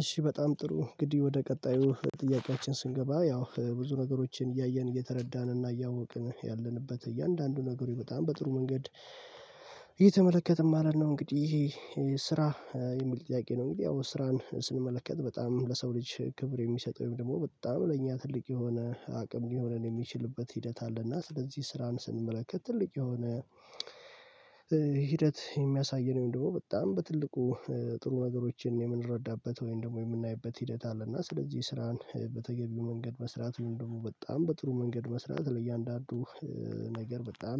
እሺ በጣም ጥሩ እንግድህ ወደ ቀጣዩ ጥያቄያችን ስንገባ ያው ብዙ ነገሮችን እያየን እየተረዳን እና እያወቅን ያለንበት እያንዳንዱ ነገሮች በጣም በጥሩ መንገድ እየተመለከትን ማለት ነው እንግዲህ ይሄ ስራ የሚል ጥያቄ ነው። እንግዲህ ያው ስራን ስንመለከት በጣም ለሰው ልጅ ክብር የሚሰጠው ወይም ደግሞ በጣም ለእኛ ትልቅ የሆነ አቅም ሊሆነን የሚችልበት ሂደት አለና ስለዚህ ስራን ስንመለከት ትልቅ የሆነ ሂደት የሚያሳየን ደግሞ በጣም በትልቁ ጥሩ ነገሮችን የምንረዳበት ወይም ደግሞ የምናይበት ሂደት አለ እና ስለዚህ ስራን በተገቢው መንገድ መስራት ወይም ደግሞ በጣም በጥሩ መንገድ መስራት ለእያንዳንዱ ነገር በጣም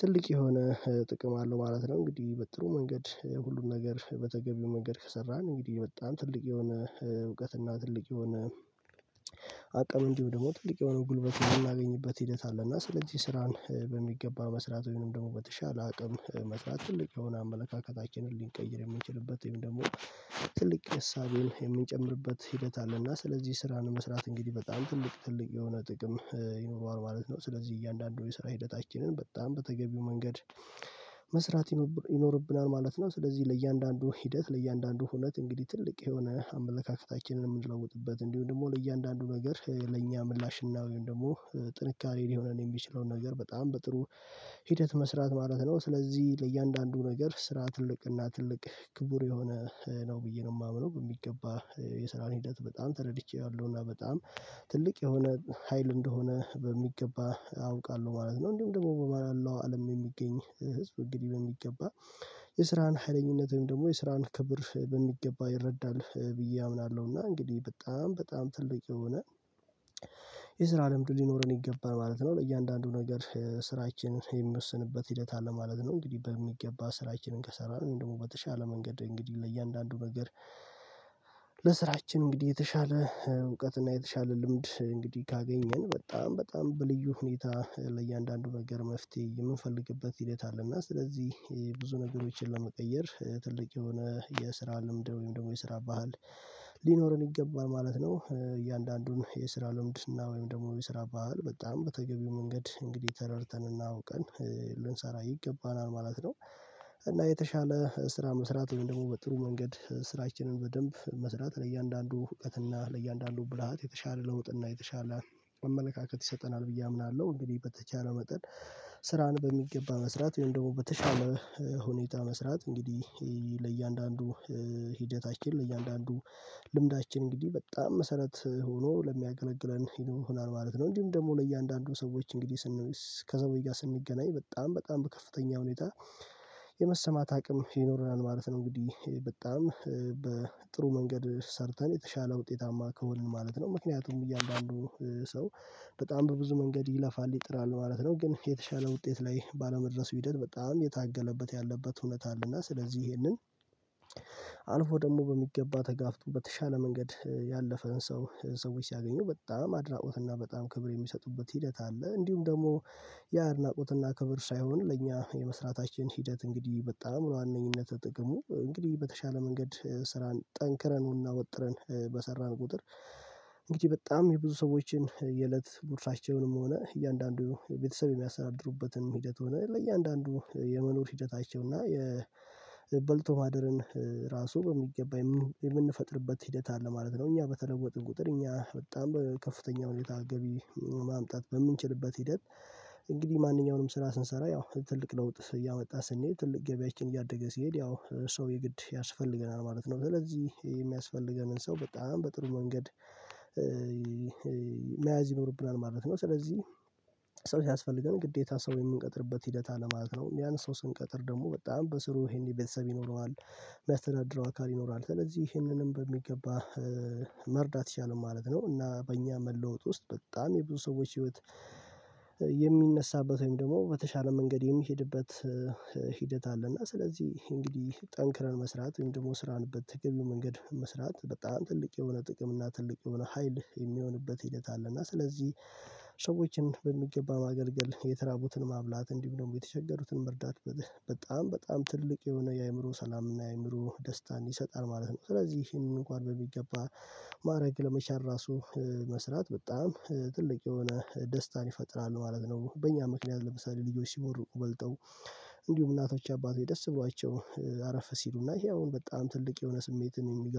ትልቅ የሆነ ጥቅም አለው ማለት ነው። እንግዲህ በጥሩ መንገድ ሁሉን ነገር በተገቢው መንገድ ከሰራን እንግዲህ በጣም ትልቅ የሆነ እውቀትና ትልቅ የሆነ አቀም እንድሁም ደግሞ ትልቅ የሆነ ጉልበት የምናገኝበት ሂደት አለ እና ስለዚህ ስራን በሚገባ መስራት ወይም ደግሞ በተሻለ አቅም መስራት ትልቅ የሆነ አመለካከታችንን ሊንቀይር የምንችልበት ወይም ደግሞ ትልቅ እሳቤን የምንጨምርበት ሂደት አለ እና ስለዚህ ስራን መስራት እንግዲህ በጣም ትልቅ ትልቅ የሆነ ጥቅም ይኖረዋል ማለት ነው። ስለዚህ እያንዳንዱ የሰራ ሂደታችንን በጣም በተገቢው መንገድ መስራት ይኖ ይኖርብናል ማለት ነው። ስለዚህ ለእያንዳንዱ ሂደት ለእያንዳንዱ ሁነት እንግዲህ ትልቅ የሆነ አመለካከታችንን የምንለውጥበት እንዲሁም ደግሞ ለእያንዳንዱ ነገር ለእኛ ምላሽ እና ወይም ደግሞ ጥንካሬ ሊሆነን የሚችለውን ነገር በጣም በጥሩ ሂደት መስራት ማለት ነው። ስለዚህ ለእያንዳንዱ ነገር ስራ ትልቅ እና ትልቅ ክቡር የሆነ ነው ብዬ ነው የማምነው በሚገባ የስራን ሂደት በጣም ተረድቼ አለው በጣም ትልቅ የሆነ ሀይል እንደሆነ በሚገባ አውቃለሁ ማለት ነው። እንዲሁም ደግሞ በማለው አለም የሚገኝ ህዝብ እንግዲህ በሚገባ የስራን ሀይለኝነት ወይም ደግሞ የስራን ክብር በሚገባ ይረዳል ብዬ አምናለሁ እና እንግዲህ በጣም በጣም ትልቅ የሆነ የስራ ልምዱ ሊኖረን ይገባን ማለት ነው። ለእያንዳንዱ ነገር ስራችንን የምወስንበት ሂደት አለ ማለት ነው። እንግዲህ በሚገባ ስራችንን ከሰራን ደግሞ በተሻለ መንገድ እንግዲህ ለእያንዳንዱ ነገር ለስራችን እንግዲህ የተሻለ እውቀትና የተሻለ ልምድ እንግዲህ ካገኘን በጣም በጣም በልዩ ሁኔታ ለእያንዳንዱ ነገር መፍትሄ የምንፈልግበት ሂደት አለ እና ስለዚህ ብዙ ነገሮችን ለመቀየር ትልቅ የሆነ የስራ ልምድ ወይም ደግሞ የስራ ባህል ሊኖረን ይገባል ማለት ነው። እያንዳንዱን የስራ ልምድ እና ወይም ደግሞ የስራ ባህል በጣም በተገቢው መንገድ እንግዲህ ተረድተንና አውቀን ልንሰራ ይገባናል ማለት ነው። እና የተሻለ ስራ መስራት ወይም ደግሞ በጥሩ መንገድ ስራችንን በደንብ መስራት ለእያንዳንዱ እውቀትና ለእያንዳንዱ ብልሃት የተሻለ ለውጥ እና የተሻለ አመለካከት ይሰጠናል ብዬ አምናለሁ። እንግዲህ በተቻለ መጠን ስራን በሚገባ መስራት ወይም ደግሞ በተሻለ ሁኔታ መስራት እንግዲህ ለእያንዳንዱ ሂደታችን ለእያንዳንዱ ልምዳችን እንግዲህ በጣም መሰረት ሆኖ ለሚያገለግለን ይሆናል ማለት ነው። እንዲሁ ደግሞ ለእያንዳንዱ ሰዎች እንግዲህ ስን ከሰዎች ጋር ስንገናኝ በጣም በጣም በከፍተኛ ሁኔታ የመሰማት አቅም ይኖረናል ማለት ነው። እንግዲህ በጣም በጥሩ መንገድ ሰርተን የተሻለ ውጤታማ ከሆንን ማለት ነው ምክንያቱም እያንዳንዱ ሰው በጣም በብዙ መንገድ ይለፋል ይጥራል ማለት ነው። ግን የተሻለ ውጤት ላይ ባለመድረሱ ሂደት በጣም የታገለበት ያለበት እውነት አለ እና ስለዚህ ይሄንን አልፎ ደግሞ በሚገባ ተጋፍጦ በተሻለ መንገድ ያለፈን ሰው ሰዎች ሲያገኙ በጣም አድናቆት እና በጣም ክብር የሚሰጡበት ሂደት አለ። እንዲሁም ደግሞ ያ አድናቆትና ክብር ሳይሆን ለእኛ የመስራታችን ሂደት እንግዲህ በጣም በዋነኝነት ጥቅሙ እንግዲህ በተሻለ መንገድ ስራን ጠንክረን እና ወጥረን በሰራን ቁጥር እንግዲህ በጣም የብዙ ሰዎችን የእለት ጉርሳቸውንም ሆነ እያንዳንዱ የቤተሰብ የሚያስተዳድሩበት ሂደት ሆነ ለእያንዳንዱ የመኖር ሂደታቸው እና የበልቶ ማደርን ራሱ በሚገባ የምንፈጥርበት ሂደት አለ ማለት ነው። እኛ በተለወጥን ቁጥር እኛ በጣም ከፍተኛ ሁኔታ ገቢ ማምጣት በምንችልበት ሂደት እንግዲህ ማንኛውንም ስራ ስንሰራ ያው ትልቅ ለውጥ እያወጣ ስንሄድ ትልቅ ገበያችን እያደገ ሲሄድ ያው ሰው የግድ ያስፈልገናል ማለት ነው። ስለዚህ የሚያስፈልገንን ሰው በጣም በጥሩ መንገድ መያዝ ይኖርብናል ማለት ነው። ስለዚህ ሰው ሲያስፈልገን ግዴታ ሰው የምንቀጥርበት ሂደት አለ ማለት ነው። ያን ሰው ስንቀጥር ደግሞ በጣም በስሩ ይሄኔ ቤተሰብ ይኖረዋል የሚያስተዳድረው አካል ይኖራል ስለዚህ ይህንንም በሚገባ መርዳት ይችላል ማለት ነው። እና በእኛ መለወጥ ውስጥ በጣም የብዙ ሰዎች ህይወት የሚነሳበት ወይም ደግሞ በተሻለ መንገድ የሚሄድበት ሂደት አለና ስለዚህ እንግዲህ ጠንክረን መስራት ወይም ደግሞ ስራን በተገቢው መንገድ መስራት በጣም ትልቅ የሆነ ጥቅም እና ትልቅ የሆነ ሀይል የሚሆንበት ሂደት አለ። እና ስለዚህ ሰዎችን በሚገባ ማገልገል የተራቡትን ማብላት እንዲሁ ደግሞ የተቸገሩትን መርዳት በጣም በጣም ትልቅ የሆነ የአእምሮ ሰላምና የአእምሮ ደስታን ይሰጣል ማለት ነው። ስለዚህ ይሄንን እንኳን በሚገባ ማድረግ ለመቻል ራሱ መስራት በጣም ትልቅ የሆነ ደስታን ይፈጥራል ማለት ነው። በእኛ ምክንያት ለምሳሌ ልጆች ሲቦርቁ በልተው እንዲሁም እናቶች አባቶች ደስ ብሏቸው አረፈ ሲሉና ይሄ አሁን በጣም ትልቅ የሆነ ስሜትን የሚገርም